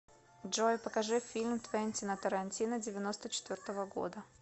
джой покажи фильм твентина тарантино девяносто четвертого года